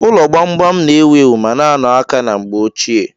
Ụlọ gbam-gbam na-ewu ewu ma na-ano aka ná mgbe ochie.